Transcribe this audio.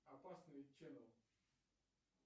опасный ченнел